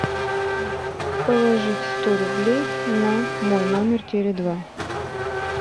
положить сто рублей на мой номер теле два